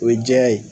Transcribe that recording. O ye jɛya ye